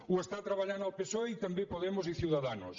ho està treballant el psoe i també podemos i ciudadanos